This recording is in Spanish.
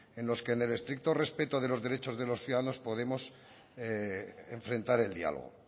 en los que en el estricto respeto de los derechos de los ciudadanos podemos enfrentar el diálogo